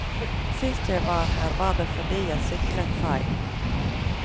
Sist jeg var her var det fordi jeg syklet feil.